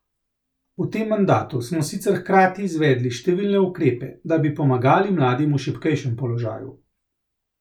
V tem mandatu smo sicer hkrati izvedli številne ukrepe, da bi pomagali mladim v šibkejšem položaju.